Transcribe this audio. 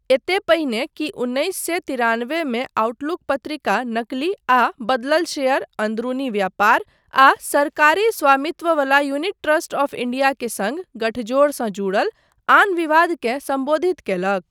एते पहिने कि उन्नैस सए तिरानबेमे आउटलुक पत्रिका नकली आ बदलल शेयर, अन्दरूनी व्यापार, आ सरकारी स्वामित्ववला यूनिट ट्रस्ट आफ इंडिया के सङ्ग गठजोड़सँ जुड़ल आन विवादकेँ सम्बोधित कयलक।